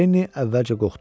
Lenni əvvəlcə qorxdu.